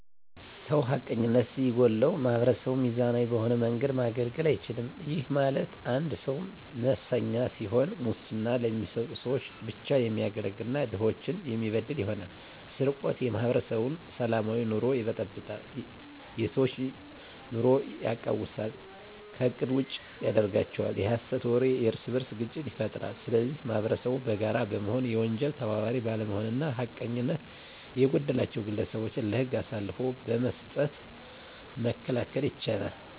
ሰው ሀቀኝነት ሲጎለዉ ማህበረሰቡን ሚዛናዊ በሆነ መንገድ ማገልገል አይችልም ይህም ማለት አንድ ሰዉ መሰኛ ሲሆን ሙስና ለሚሰጡ ሰዎች ብቻ የሚያገለግል እና ድሆችን የሚበድል ይሆናል። _ስርቆት የማህበረሰቡን ሰላማዊ ኑሮ ይበጠብጣል የሰዎች ኑሮ የቃዉሳል ከእቅድ ውጭ ያደርጋቸዋል። _የሀሰት ወሬ የእርስበርስ ግጭት ይፈጥራል ስለዚህ ማህበረሰቡ በጋራ በመሆን የወንጀል ተባባሪ ባለመሆንና ሀቀኝነት የጎደላቸዉን ግለሰቦች ለህግ አሳልፎ በመስጠት መከላከል ይቻላል።